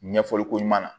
Ɲɛfɔli ko ɲuman na